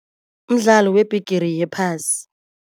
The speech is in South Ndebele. Mdlalo weBhigiri yePhasi.